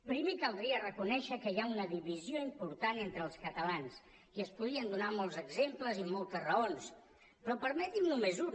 primer caldria reconèixer que hi ha una divisió important entre els catalans i es podrien donar molts exemples i moltes raons però permetin me només un